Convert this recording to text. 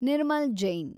Nirmal Jain